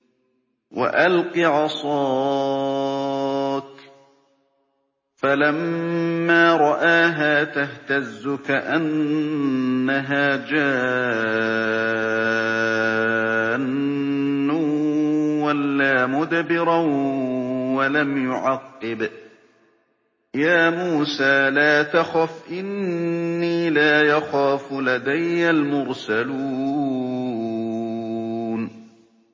وَأَلْقِ عَصَاكَ ۚ فَلَمَّا رَآهَا تَهْتَزُّ كَأَنَّهَا جَانٌّ وَلَّىٰ مُدْبِرًا وَلَمْ يُعَقِّبْ ۚ يَا مُوسَىٰ لَا تَخَفْ إِنِّي لَا يَخَافُ لَدَيَّ الْمُرْسَلُونَ